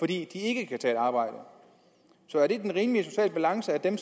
de ikke kan tage et arbejde så er det den rimelige sociale balance at dem